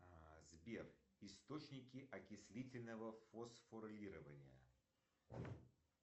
сбер источники окислительного фосфорилирования